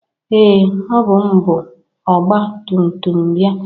Ee! Ọbụ m bu ọgba tumtum bịa.